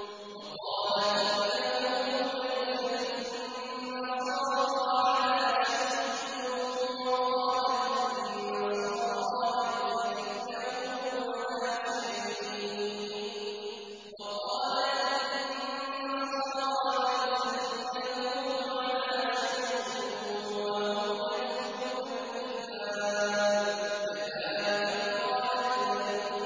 وَقَالَتِ الْيَهُودُ لَيْسَتِ النَّصَارَىٰ عَلَىٰ شَيْءٍ وَقَالَتِ النَّصَارَىٰ لَيْسَتِ الْيَهُودُ عَلَىٰ شَيْءٍ وَهُمْ يَتْلُونَ الْكِتَابَ ۗ كَذَٰلِكَ قَالَ الَّذِينَ لَا يَعْلَمُونَ مِثْلَ قَوْلِهِمْ ۚ فَاللَّهُ يَحْكُمُ بَيْنَهُمْ يَوْمَ الْقِيَامَةِ فِيمَا كَانُوا